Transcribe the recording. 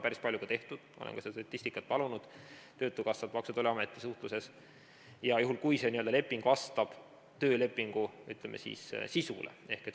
Seda on päris palju ka tehtud , juhul kui see leping vastab töölepingu, ütleme, sisule.